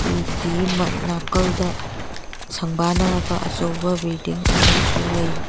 ꯎꯒꯤ ꯃꯥ ꯅꯀꯜꯗ ꯁꯪꯕꯟꯅꯔꯕ ꯑꯆꯧꯕ ꯕꯤꯜꯗꯤꯡ ꯑꯃꯁꯨ ꯂꯩꯔꯤ꯫